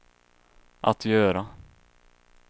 att göra